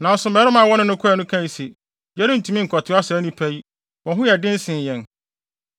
Nanso mmarima a wɔne no kɔe no kae se, “Yɛrentumi nkɔtoa saa nnipa yi; wɔn ho yɛ den sen yɛn.”